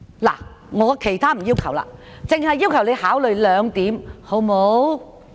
我沒有其他要求，只是要求你考慮這兩點，好嗎？